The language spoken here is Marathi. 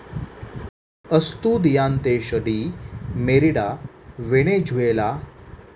अस्तुदियांतेश डी मेरीडा, व्हेनेझुएला